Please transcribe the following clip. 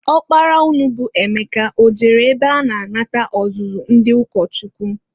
Ọkpara unu bụ Emeka o jere ebe a na-anata ọzụzụ ndị ụkọchukwu?